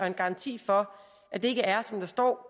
en garanti for at det er som der står